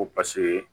Ko paseke